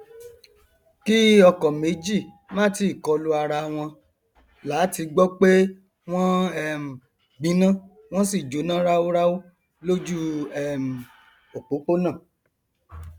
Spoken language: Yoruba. kí ọkọ méjì má tíì kọlu arawọn làá ti gbọ pé wọn um gbiná wọn sì jóná ráúráú lójú um òpópónà